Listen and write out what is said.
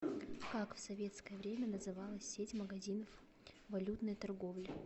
как в советское время называлась сеть магазинов валютной торговли